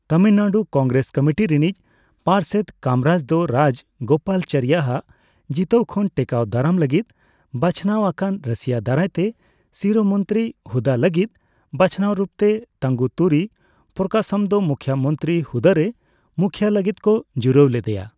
Tamil Nadu Congress committee ᱨᱤᱱᱤᱡ ᱯᱟᱨᱥᱮᱫ ᱠᱟᱢᱨᱟᱡᱽ ᱫᱚ ᱨᱟᱡᱽᱜᱳᱯᱟᱞᱪᱟᱨᱤᱭᱟᱜ ᱡᱤᱛᱟᱹᱣ ᱠᱷᱚᱱ ᱴᱮᱠᱟᱣ ᱫᱟᱨᱟᱢ ᱞᱟᱹᱜᱤᱫ ᱵᱟᱪᱷᱱᱟᱣ ᱟᱠᱟᱱ ᱨᱟᱹᱥᱤᱭᱟᱹ ᱫᱟᱨᱟᱭ ᱛᱮ ᱥᱤᱨᱟᱹᱢᱚᱱᱛᱨᱤ ᱦᱩᱫᱟᱹ ᱞᱟᱹᱜᱤᱫ ᱵᱟᱪᱷᱱᱟᱣ ᱨᱩᱯ ᱛᱮ ᱛᱟᱝᱜᱩᱛᱩᱨᱤ ᱯᱨᱚᱠᱟᱥᱚᱢ ᱫᱚ ᱢᱩᱠᱷᱤᱭᱟᱹ ᱢᱚᱱᱛᱨᱤ ᱦᱩᱫᱟᱹ ᱨᱮ ᱢᱩᱠᱷᱭᱟᱹ ᱞᱟᱹᱜᱤᱫ ᱠᱚ ᱡᱩᱨᱟᱹᱭ ᱞᱮᱫᱮᱭᱟ ᱾